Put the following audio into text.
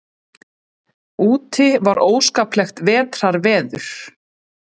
Úti var óskaplegt vetrarveður.